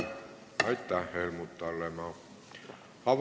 Aitäh, Helmut Hallemaa!